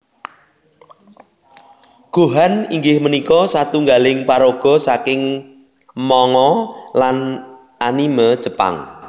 Gohan inggih punika satunggaling paraga saking manga lan anime Jepang